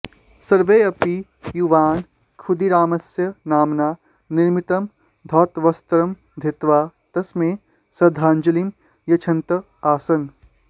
सर्वेऽपि युवानः खुदीरामस्य नाम्ना निर्मितं धौतवस्त्रं धृत्वा तस्मै श्रद्धाङ्जलिं यच्छन्तः आसन्